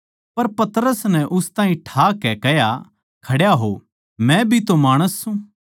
पर पतरस नै उस ताहीं ठा कै कह्या खड्या हो मै भी तो माणस सूं